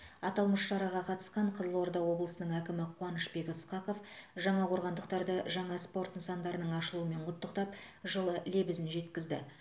аталмыш шараға қатысқан қызылорда облысының әкімі қуанышбек ысқақов жаңақорғандықтарды жаңа спорт нысандарының ашылуымен құттықтап жылы лебізін жеткізді